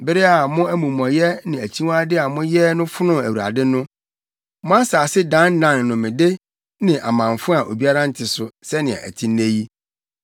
Bere a mo amumɔyɛ ne akyiwade a moyɛɛ no fonoo Awurade no, mo asase dannan nnomede ne amamfo a obiara nte so, sɛnea ɛte nnɛ yi.